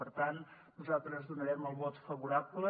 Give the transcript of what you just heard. per tant nosaltres hi donarem el vot favorable